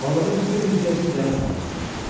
Balığın bir bel üzgəci yana sallanmışdı.